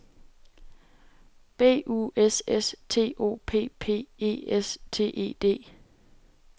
B U S S T O P P E S T E D